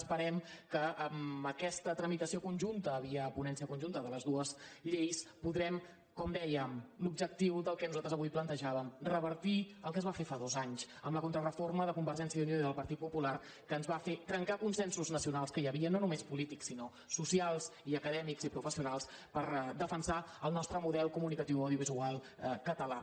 esperem que amb aquesta tramitació conjunta via ponència conjunta de les dues lleis podrem com dèiem l’objectiu del que nosaltres avui plantejàvem revertir el que es va fer fa dos anys amb la contrareforma de convergència i unió i del partit popular que ens va fer trencar consensos nacionals que hi havia no només polítics sinó socials i acadèmics i professionals per defensar el nostre model comunicatiu audiovisual català